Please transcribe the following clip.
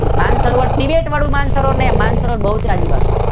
માન સરોવર તિબેટ વાળું માન સરોવર નહી બહુચરાજી વાળું